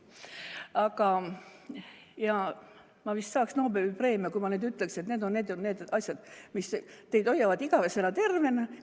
Aga ma vist saaks Nobeli preemia, kui ma ütleksin, et need on need ja need asjad, mis hoiavad teid igavesti tervena.